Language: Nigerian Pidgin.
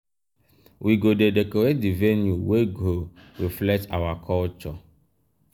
we go dey decorate di venue wey go reflect our our culture.